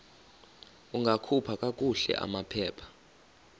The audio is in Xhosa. ungakhupha kakuhle amaphepha